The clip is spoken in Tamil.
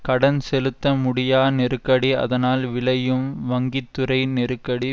கடன் செலுத்தமுடியா நெருக்கடி அதனால் விளையும் வங்கித்துறை நெருக்கடி